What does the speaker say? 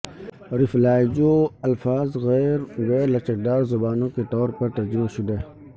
ریفلاجائیو الفاظ غیر غیر لچکدار زبانوں کے طور پر ترجمہ شدہ